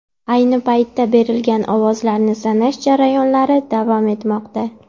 Ayni paytda berilgan ovozlarni sanash jarayonlari davom etmoqda .